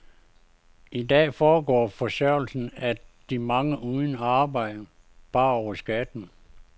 I dag foregår forsørgelsen af de mange uden arbejde bare over skatten.